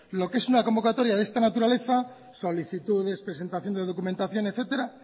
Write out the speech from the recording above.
lo que es una convocatoria de esta naturaleza solicitudes presentación de documentación etcétera